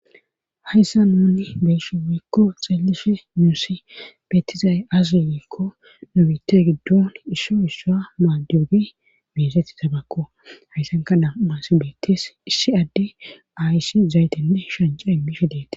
hayssa nuni beesi wiikko xeellishe muusi beettizaye az wiekko nobite giddon isso issua maaddogi meesetti tabakko hayssanka dam7as beettes issi adde aysi zaytenne shanca immi fidete